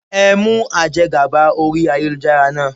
Ẹ mú aje gàba orí ayélujára náà.